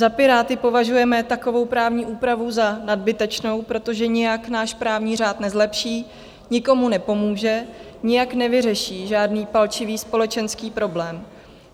Za Piráty považujeme takovou právní úpravu za nadbytečnou, protože nijak náš právní řád nezlepší, nikomu nepomůže, nijak nevyřeší žádný palčivý společenský problém.